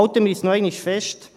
Halten wir es noch einmal fest: